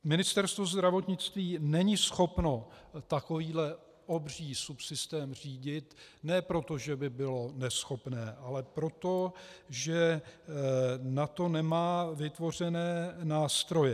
Ministerstvo zdravotnictví není schopno takovýto obří subsystém řídit, ne proto, že by bylo neschopné, ale proto, že na to nemá vytvořené nástroje.